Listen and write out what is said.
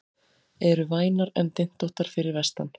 Eru vænar en dyntóttar fyrir vestan